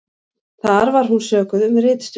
Þar var hún sökuð um ritstuld